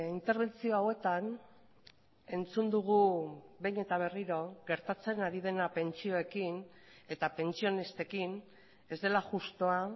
interbentzio hauetan entzun dugu behin eta berriro gertatzen ari dena pentsioekin eta pentsionistekin ez dela justua